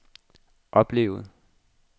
oplevede